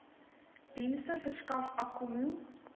dienste verskaf akkommo